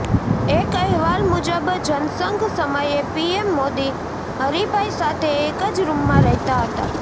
એક અહેવાલ મુજબ જનસંઘ સમયે પીએમ મોદી હરીભાઇ સાથે એક જ રુમમાં રહેતા હતા